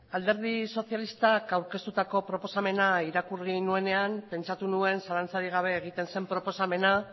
alderdi sozialistak aurkeztutako proposamena irakurri nuenean pentsatu nuen zalantzarik gabe egiten zen proposamena